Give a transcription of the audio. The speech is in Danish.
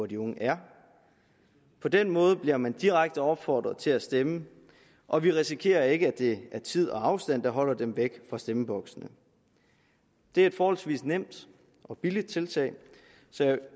de unge er på den måde bliver man direkte opfordret til at stemme og vi risikerer ikke at det er tid og afstand der holder dem væk fra stemmeboksene det er et forholdsvis nemt og billigt tiltag